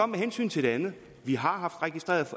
med hensyn til det andet vi har haft registreret